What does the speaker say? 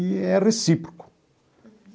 E é recíproco.